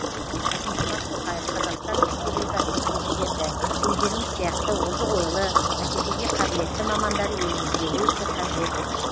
қасым жомарт тоқаев қазақстан ресупбликасының президенті өздеріңіз сияқты озық ойлы бәсекеге қабілетті мамандар елімізге өте қажет